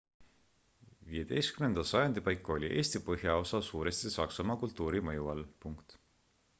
15 sajandi paiku oli eesti põhjaosa suuresti saksamaa kultuuri mõju all